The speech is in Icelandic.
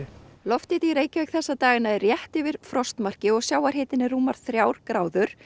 lofthiti í Reykjavík í dag er rétt yfir frostmarki og sjávarhiti rúmar þrjár gráður